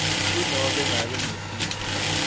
kunobe ngabe ngusiphi